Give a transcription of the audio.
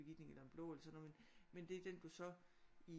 Begitning eller en blå eller sådan noget men det er den du så i